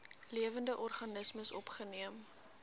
lewende organismes opgeneem